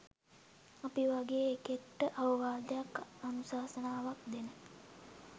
අපි වගේ එකෙක්ට අවවාදයක් අනුශාසනාවක් දෙන